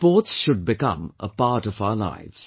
Sports should become a part of our lives